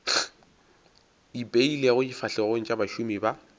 ipeilego difahlegong tša bašomi ba